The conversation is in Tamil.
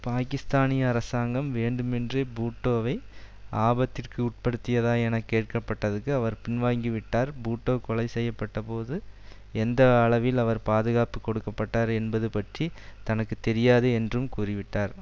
பாக்கிஸ்தானிய அரசாங்கம் வேண்டுமேன்றே பூட்டோவை ஆபத்திற்கு உட்படுத்தியதா என கேட்க பட்டதற்கு அவர் பின்வாங்கிவிட்டார் பூட்டோ கொலை செய்ய பட்டபோது எந்த அளவில் அவர் பாதுகாப்பு கொடுக்கப்பட்டார் என்பது பற்றி தனக்கு தெரியாது என்றும் கூறிவிட்டார்